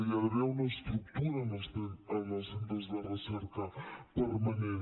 hi ha d’haver una estructura en els centres de recerca permanent